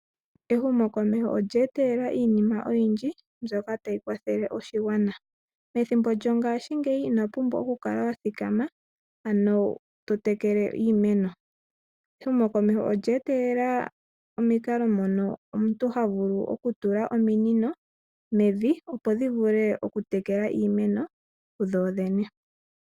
Ehumokomeho olye etelela iinima oyindji mbyoka tayi kwathele oshigwana . Methimbo lyongaashingeyi ino pumbwa okukala wa thikama totekele iimeno. Ehumokomeho olye etelela omikalo mono omuntu havulu okutula ominino mevi, opo dhivule okutekela dhodhene.